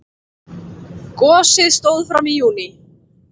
Gosið stóð fram í júní.